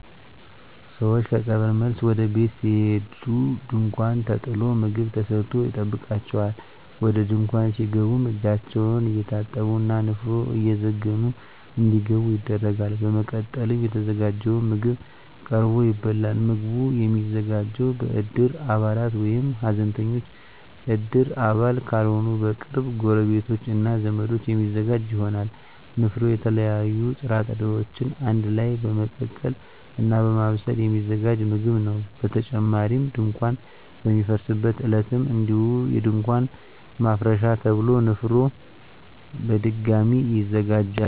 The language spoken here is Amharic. ሰወች ከቀብር መልስ ወደ ቤት ሲሄዱ ድንኳን ተጥሎ ምግብ ተሰርቶ ይጠብቃቸዋል። ወደ ድንኳን ሲገቡም እጃቸውን እየታጠቡ እና ንፍሮ እየዘገኑ እንዲገቡ ይደረጋል። በመቀጠልም የተዘጋጀው ምግብ ቀርቦ ይበላል። ምግቡ የሚዘጋጀው በእድር አባላት ወይም ሀዘንተኞች እድር አባል ካልሆኑ በቅርብ ጎረቤቶች እና ዘመዶች የሚዘጋጅ ይሆናል። ንፍሮ የተለያዩ ጥራጥሬወችን አንድ ላይ በመቀቀል እና በማብሰል የሚዘጋጅ ምግብ ነው። በተጨማሪም ድንኳን በሚፈርስበት ዕለትም እንዲሁ የድንኳን ማፍረሻ ተብሎ ንፍሮ በድጋሚ ይዘጋጃል።